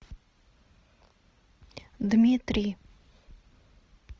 дмитрий